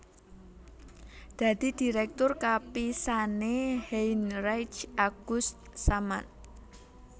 Dadi dirèktur kapisané Heinrich August Samann